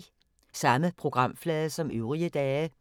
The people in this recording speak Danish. Samme programflade som øvrige dage